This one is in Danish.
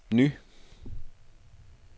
ny